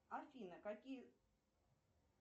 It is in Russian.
афина какие